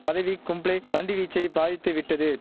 பதவி கும்ளே பந்து வீச்சை பாதித்துவிட்டது